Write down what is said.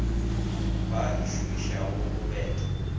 ba e šomišago go betla